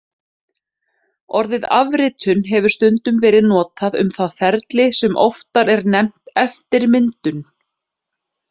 Orðið afritun hefur stundum verið notað um það ferli sem oftar er nefnt eftirmyndun.